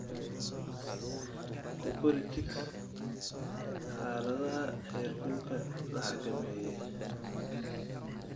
Ku kori chicks xaaladaha heerkulka la xakameeyey.